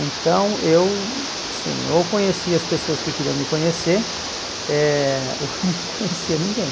Então eu, sim, ou conhecia as pessoas que queriam me conhecer, eh ou não conhecia ninguém.